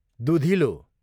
दुधिलो